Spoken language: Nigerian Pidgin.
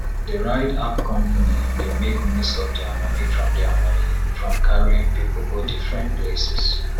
the ride app company dey make most of their money from their money from carrying people go different places